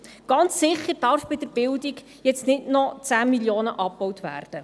Ganz sicher dürfen bei der Bildung jetzt nicht noch 10 Mio. Franken abgebaut werden.